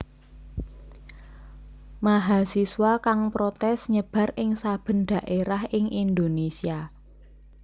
Mahasiswa kang protès nyebar ing saben dhaérah ing Indonésia